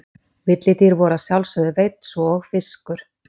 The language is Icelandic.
Villidýr voru að sjálfsögðu veidd svo og fiskur.